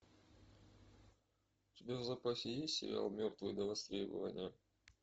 у тебя в запасе есть сериал мертвые до востребования